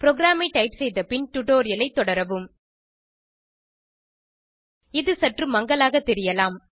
ப்ரோகிராமை டைப் செய்த பின் டுடோரியலை தொடரவும் இது சற்று மங்கலாக தெரியலாம்